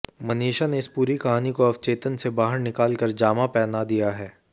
मनीषा ने इस पूरी कहानी को अवचेतन से बाहर निकाल कर जामा पहना दिया है